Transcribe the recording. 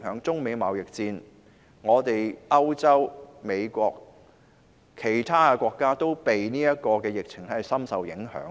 中美貿易戰、歐洲、美國或其他國家，都因為今次疫情而深受影響。